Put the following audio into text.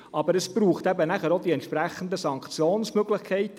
Aber, es braucht dann eben auch die entsprechenden Sanktionsmöglichkeiten.